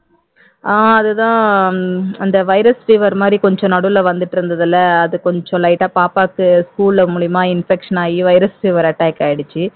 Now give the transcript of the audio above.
ஆஹ் அதுதான் அந்த virus fever மாதிரி கொஞ்சம் நடுவில் வந்துட்டு இருந்ததில்ல அது கொஞ்சம் light ஆ பாப்பாக்கு school ல மூலமா infection ஆகி attack ஆயிடுச்சு